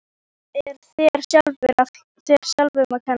Það er þér sjálfum að kenna.